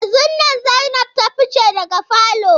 Yanzun nan Zainab ta fice daga falo.